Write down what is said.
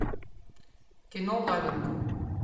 кино лавинг